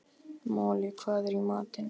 Moli, hvað er í matinn?